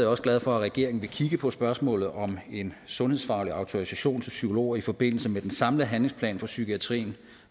også glad for at regeringen vil kigge på spørgsmålet om en sundhedsfaglig autorisation til psykologer i forbindelse med den samlede handlingsplan for psykiatrien